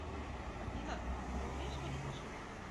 афина ты умеешь водить машину